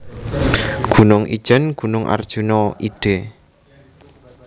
Gunung Ijen Gunung Arjuna id